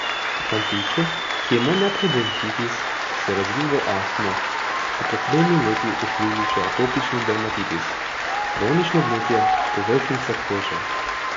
Fantiču, ki je imel najprej bronhitis, ki se je razvil v astmo, so pred tremi leti odkrili še atopični dermatitis, kronično vnetje povrhnjice kože.